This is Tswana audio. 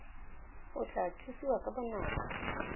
o tla thusiwa ka bonako